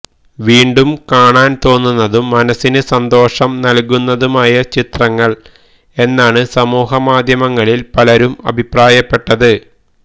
വീണ്ടും കാണാൻ തോന്നുന്നതും മനസ്സിനു സന്തോഷം നൽകുന്നതുമായ ചിത്രങ്ങൾ എന്നാണ് സമൂഹമാധ്യമങ്ങളിൽ പലരും അഭിപ്രായപ്പെട്ടത്